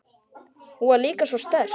Hún var líka svo sterk.